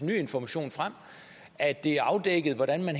information frem at det er afdækket hvordan man